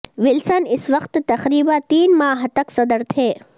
Wilson اس وقت تقریبا تین ماہ تک صدر تھے